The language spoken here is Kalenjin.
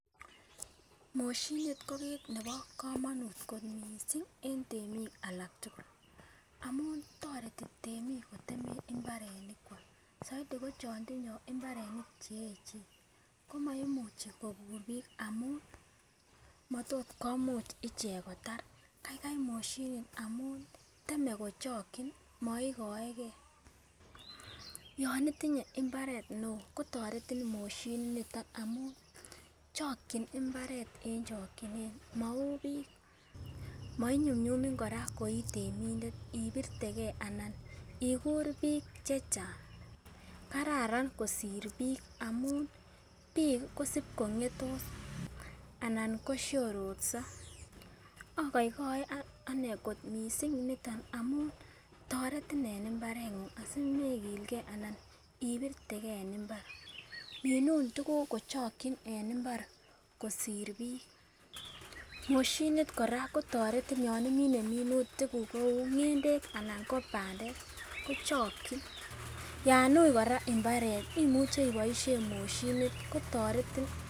Moshinit ko kit nebo komonut kot missing en temik alak tukul amun toreti temik kotem imbarenik kwak soiti ko chon tinye imbarenik cheyechen komoimuchi kokur bik amun motot komuch ichek kotar kaikai moshinit amun teme kochokin moikoegee. Yon itinye imbaret neo kotoretin moshinit niton amun chokin imbaret en chokinet mou bik moinyumnyumin koraa koitemindet ibirtegee ana ikur bik chechang .Kararan kosir bik, bik kosib kongetos anan koshororso, ogoigoe ane kot missing niton amun toretin en imbarengung asimekilgee anan ibirtegee en imbar. Minun tukuku kochokin en imbar kosir bik, moshinit kora kotoretin yon imine minutik kuk kou ngendek anan ko pandek kochokik yon ui koraa imbaret imuche iboishen moshinit kotoretin.